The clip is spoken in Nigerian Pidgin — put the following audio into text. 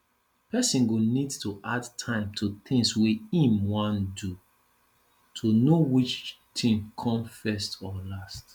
person go need to add time to tins wey im wan do to know which tin come first or last